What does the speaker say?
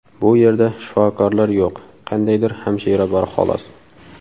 Bu yerda shifokorlar yo‘q, qandaydir hamshira bor xolos.